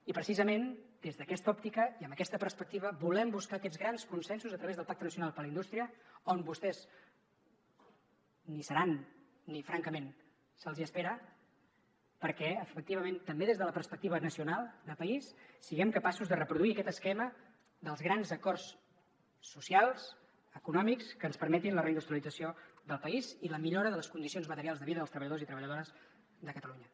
i precisament des d’aquesta òptica i amb aquesta perspectiva volem buscar aquests grans consensos a través del pacte nacional per la indústria on vostès ni hi seran ni francament se’ls espera perquè efectivament també des de la perspectiva nacional de país siguem capaços de reproduir aquest esquema dels grans acords socials econòmics que ens permetin la reindustrialització del país i la millora de les condicions materials de vida dels treballadors i treballadores de catalunya